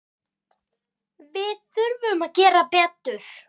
Við þurfum að gera betur.